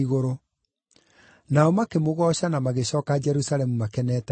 Nao makĩmũgooca na magĩcooka Jerusalemu makenete mũno.